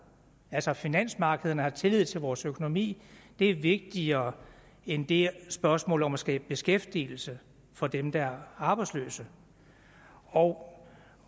altså at finansmarkederne har tillid til vores økonomi er vigtigere end det spørgsmål om at skabe beskæftigelse for dem der er arbejdsløse og